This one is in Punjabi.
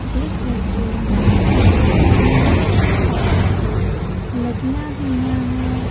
ਜਿੱਸ ਵਿੱਚ ਬਹੁਤ ਸਾਰੀਆ ਕਾਰਸ ਲੱਗੀਆਂ ਹੋਈਆਂ ਹੈਂ।